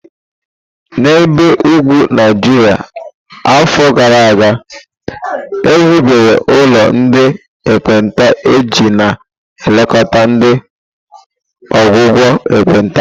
N'ebe ugwu Naijiria afọ gara aga, e hibere ụlọ ndị ekpenta iji na-elekọta na ọgwụgwọ ekpenta.